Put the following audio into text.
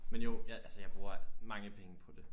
Men jo jeg altså jeg bruger mange penge på det